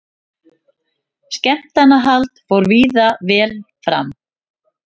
Skemmtanahald fór víða vel fram